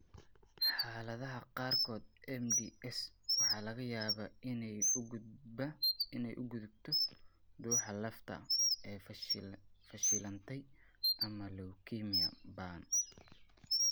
Xaaladaha qaarkood, MDS waxa laga yaabaa inay u gudubto dhuuxa lafta oo fashilantay ama leukemia ba'an.